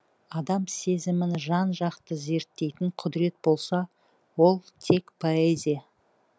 адам сезімін жан жақты зерттейтін құдірет болса ол тек поэзия